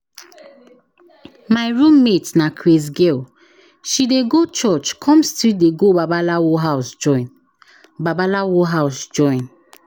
My roommate na craze girl. She dey go church come still dey go babalawo house join. babalawo house join.